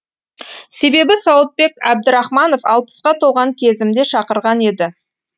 себебі сауытбек әбдірахманов алпысқа толған кезімде шақырған еді